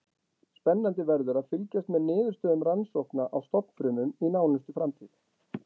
Spennandi verður að fylgjast með niðurstöðum rannsókna á stofnfrumum í nánustu framtíð.